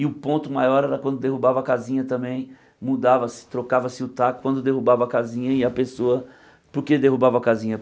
E o ponto maior era quando derrubava casinha também, mudava-se, trocava-se o taco quando derrubava casinha e a pessoa... Por que derrubava casinha?